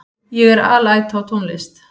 Ég er alæta á tónlist.